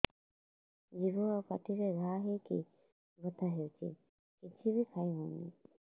ଜିଭ ଆଉ ପାଟିରେ ଘା ହେଇକି ବଥା ହେଉଛି କିଛି ବି ଖାଇହଉନି